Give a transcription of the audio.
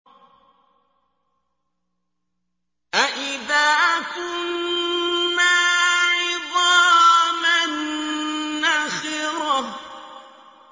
أَإِذَا كُنَّا عِظَامًا نَّخِرَةً